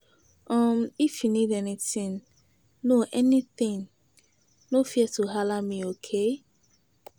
um If you need anything no anything, no fear to halla me, okay?